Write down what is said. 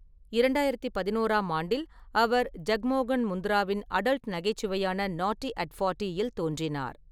இரண்டாயிரத்து பதினோறாம் ஆண்டில், அவர் ஜக்மோகன் முந்த்ராவின் அடல்ட் நகைச்சுவையான நாட்டி அட் ஃபோர்ட்டியில் தோன்றினார்.